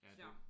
Så